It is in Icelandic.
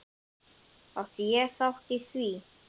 Átti ég þátt í því?